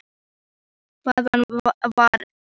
Hvað var einn blýantur á svona degi?